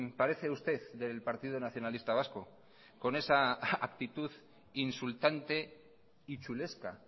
parece usted del partido nacionalista vasco con esa actitud insultante y chulesca